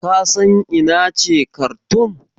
Ka san ina ce Karthoum?